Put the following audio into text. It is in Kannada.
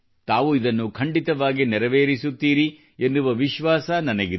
ತಾವು ಇದನ್ನು ಖಂಡಿತವಾಗಿ ನೆರವೇರಿಸುತ್ತೀರಿ ಎನ್ನುವ ವಿಶ್ವಾಸ ನನಗಿದೆ